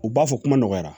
U b'a fɔ kuma nɔgɔyara